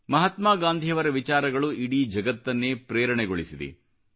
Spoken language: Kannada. ಮಹಾತ್ಮಾ ಗಾಂಧಿಯವರ ವಿಚಾರಗಳು ಇಡೀ ಜಗತ್ತನ್ನೇ ಪ್ರೇರಣೆಗೊಳಿಸಿದೆ